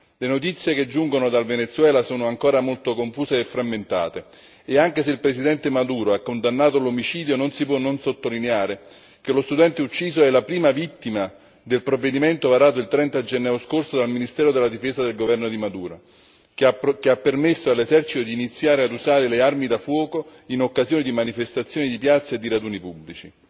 Le notizie che giungono dal Venezuela sono ancora molto confuse e frammentate e anche se il Presidente Maduro ha condannato l'omicidio non si può non sottolineare che lo studente ucciso è la prima vittima del provvedimento varato il 30 gennaio scorso dal ministero della Difesa del governo Maduro, che ha permesso all'esercito di iniziare ad usare le armi da fuoco in occasione di manifestazioni di piazza e di raduni pubblici.